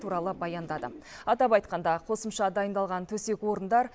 туралы баяндады атап айтқанда қосымша дайындалған төсек орындар